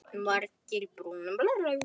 Margir brú í munni bera.